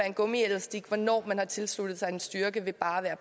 en gummielastik hvornår man har tilsluttet sig en styrke ved bare